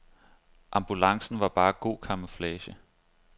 Ambulancen var bare god camouflage.